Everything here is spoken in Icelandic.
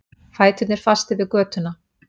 Fæturnir fastir við götuna.